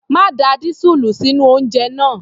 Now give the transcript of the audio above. Má da dísúùlù sínú oúnjẹ náà!